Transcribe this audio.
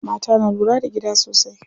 Mata na lura da gida sosai.